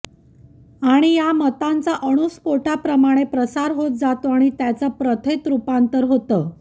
आणि या मतांचा अणूस्फोटाप्रमाणे प्रसार होत जातो आणि त्याचं प्रथेत रुपांतर होतं